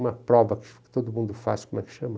uma prova que todo mundo faz, como é que chama?